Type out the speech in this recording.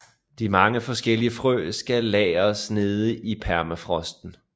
De mange forskellige frø skal lagres nede i permafrosten